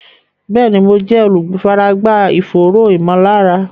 Bẹ́ẹ̀ni, mo jẹ́ olùfaragbá ìfòòró ìmọ̀lára